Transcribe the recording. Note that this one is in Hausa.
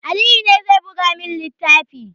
Aliyu ne zai buga min littafin